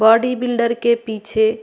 body builder के पीछे --